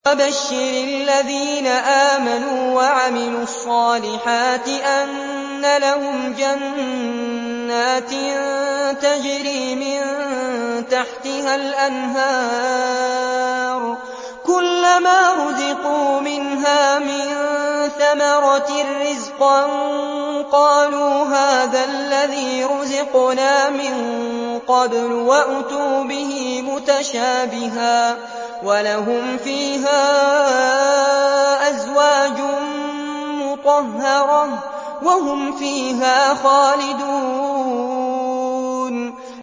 وَبَشِّرِ الَّذِينَ آمَنُوا وَعَمِلُوا الصَّالِحَاتِ أَنَّ لَهُمْ جَنَّاتٍ تَجْرِي مِن تَحْتِهَا الْأَنْهَارُ ۖ كُلَّمَا رُزِقُوا مِنْهَا مِن ثَمَرَةٍ رِّزْقًا ۙ قَالُوا هَٰذَا الَّذِي رُزِقْنَا مِن قَبْلُ ۖ وَأُتُوا بِهِ مُتَشَابِهًا ۖ وَلَهُمْ فِيهَا أَزْوَاجٌ مُّطَهَّرَةٌ ۖ وَهُمْ فِيهَا خَالِدُونَ